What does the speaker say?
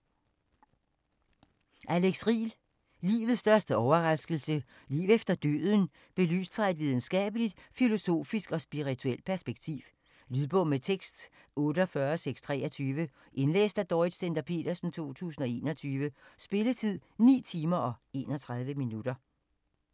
Riel, Alex: Livets største overraskelse: liv efter døden belyst fra et videnskabeligt, filosofisk og spirituelt perspektiv Lydbog med tekst 48623 Indlæst af Dorrit Stender-Petersen, 2021. Spilletid: 9 timer, 31 minutter.